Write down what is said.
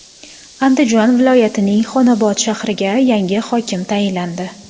Andijon viloyatining Xonobod shahriga yangi hokim tayinlandi.